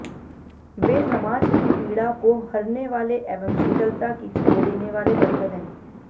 वे समाज की पीड़ा को हरने वाले एवं शीतलता की छांव देने वाले बरगद हैं